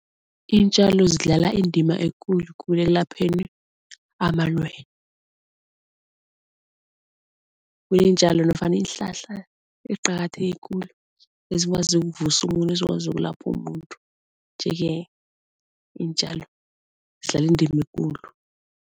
Iintjalo zidlala indima ekulu kulu ekulapheni amalwele. Kuneentjalo nofana iinhlahla eziqakatheke khulu ezikwazi ukuvusa umuntu, ezikwazi ukulapha umuntu nje-ke iintjalo zidlala indima ekulu.